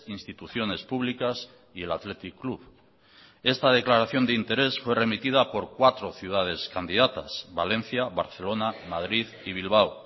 instituciones públicas y el athletic club esta declaración de interés fue remitida por cuatro ciudades candidatas valencia barcelona madrid y bilbao